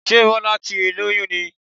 Sé Bọ́lá ti lóyún ni?